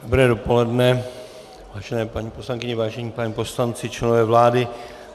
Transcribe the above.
Dobré dopoledne, vážené paní poslankyně, vážení páni poslanci, členové vlády.